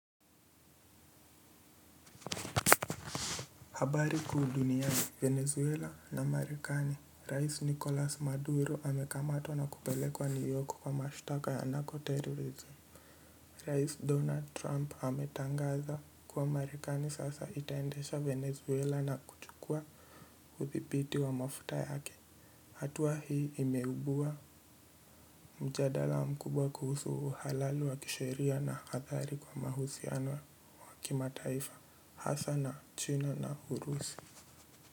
Habari kuu duniani venezuela na marekani rais nicolas maduro amekamatwa na kupelekwa new york kwa mashtaka ya nako terrorism rais donald trump ametangaza kuwa marekani sasa itaendesha venezuela na kuchukua uthibiti wa mafuta yake hatua hii imeibua mjadala mkubwa kuhusu uhalali wa kisheria na athari kwa mahusiano wa kimataifa hasa na china na urusi.